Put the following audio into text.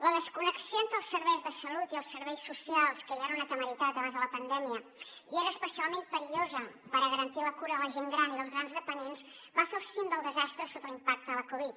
la desconnexió entre els serveis de salut i els serveis socials que ja era una temeritat abans de la pandèmia i era especialment perillosa per a garantir la cura de la gent gran i dels grans dependents va fer el cim del desastre sota l’impacte de la covid